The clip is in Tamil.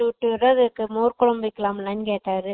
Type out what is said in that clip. ஊட்டி விடுற அதுக்கு மோர்கொழம்பு வெக்கலாம்லகேட்டாரு